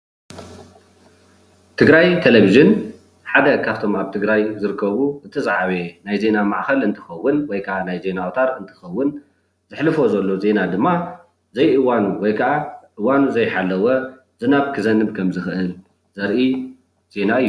ትግራይ ተለቪዥን ሓደ ካብቶም ኣብ ትግራይ ዝርከቡ እቲ ዝዓበየ ናይ ዜና ማዕኸን እንትከውን ዘሕልፎ ዜና ድማ እዋኑ ዘይሓለወ ዝናብ ክዘንብ ከም ዝክእል ዘርኢ ዜና እዩ፡፡